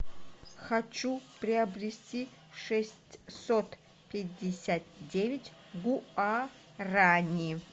хочу приобрести шестьсот пятьдесят девять гуарани